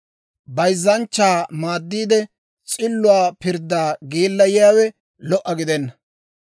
Bayzzanchchaa maaddiide, s'illuwaa pirddaa geellayiyaawe lo"a gidenna.